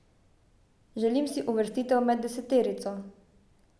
Želim si uvrstitev med deseterico.